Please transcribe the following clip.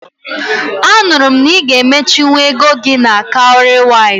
Anụrụ m na ị ga emechinwu ego gị na Cowrywise